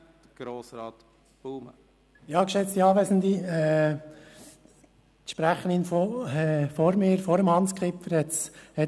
Grossrätin Fuhrer, die Sprecherin vor Grossrat Kipfer, hat es gesagt: